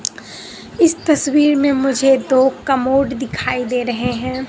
इस तस्वीर में मुझे दो कमोड दिखाई दे रहे हैं।